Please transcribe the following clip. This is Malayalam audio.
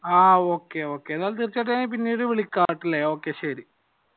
ആഹ് okay okay എന്താലും തീർച്ചയായിട്ടും ഞാൻ പിന്നീട് വിളിക്കാ ശരി